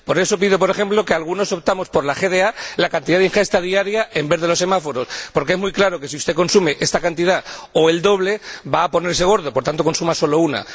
Por eso, señalo, por ejemplo, que algunos optamos por la GDA, la cantidad de ingesta diaria, en vez de los semáforos, porque es muy claro que si usted consume esta cantidad o el doble va a ponerse gordo, por tanto, consuma sólo una.